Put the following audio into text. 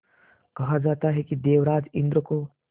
कहा जाता है कि देवराज इंद्र को